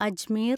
Ajmer